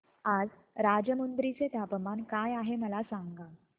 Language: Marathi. आज राजमुंद्री चे तापमान काय आहे मला सांगा